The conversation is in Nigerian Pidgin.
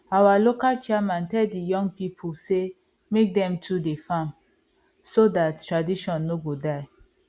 our local chairman tell the young people say make dem too dey farm so dat tradition no go die